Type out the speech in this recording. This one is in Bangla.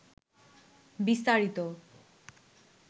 বিস্তারিত